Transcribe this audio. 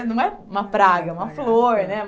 Não é uma praga, uma flor, né?